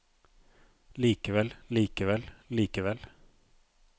likevel likevel likevel